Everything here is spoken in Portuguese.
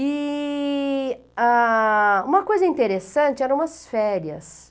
E ãh uma coisa interessante, era umas férias.